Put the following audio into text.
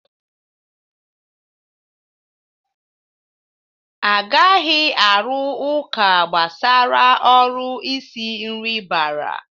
Agaghi arụ ụka gbasara uru isi nri bara.